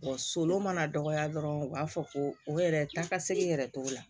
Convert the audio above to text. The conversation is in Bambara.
so mana dɔgɔya dɔrɔn u b'a fɔ ko o yɛrɛ taa ka segin yɛrɛ togo la